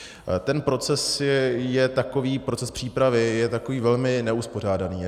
Ten proces je takový, proces přípravy, je takový velmi neuspořádaný.